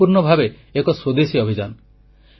ଏହା ସମ୍ପୂର୍ଣ୍ଣ ଭାବେ ଏକ ସ୍ୱଦେଶୀ ଅଭିଯାନ